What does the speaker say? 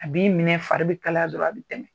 A b'i minɛ fari bɛ kala dɔrɔnw a bɛ tɛmɛ